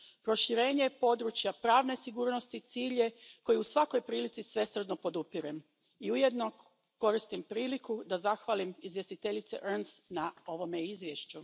Proširenje područja pravne sigurnosti cilj je koji u svakoj prilici svesrdno podupirem i ujedno koristim priliku da zahvalim izvjestiteljici Ernst na ovome izvješću.